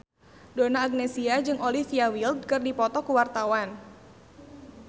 Donna Agnesia jeung Olivia Wilde keur dipoto ku wartawan